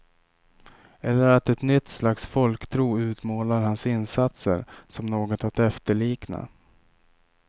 Eller att ett nytt slags folktro utmålar hans insatser som något att efterlikna.